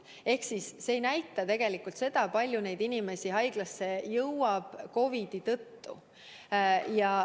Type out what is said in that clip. Ehk siis see arv ei näita tegelikult seda, kui palju inimesi jõuab haiglasse COVID-i tõttu.